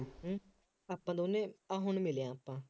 ਹੂੰ ਆਪਾਂ ਦੋਨੇ ਆਹ ਹੁਣ ਮਿਲੇ ਹਾਂ ਆਪਾਂ